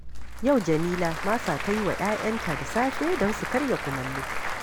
Yau Jamila masa ta yi wa 'ya'yanta da safe don su karya kumallo